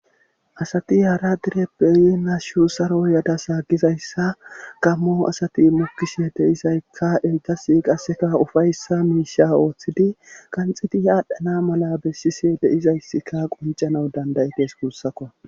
Asati hara dereppe lo'on hashshu saro yadassa gizayssa gammo asati mokishshe de'izaykka ettasi qasseka ufayssa miishsha ooththidi qanxiti adhdhana malla bessishshe de'izayssika qoncanaw dandayeetess guussakko